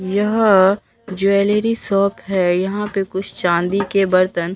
यह jewellery shop है यहां पे कुछ चांदी के बर्तन--